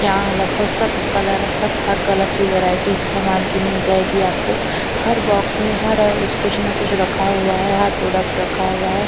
यहां लगभग सब कलर सब हर कलर की वैरायटी सामान की मिल जाएगी आपको हर बॉक्स में हर उस कुछ ना कुछ रखा हुआ है हर प्रोडक्ट रखा हुआ है।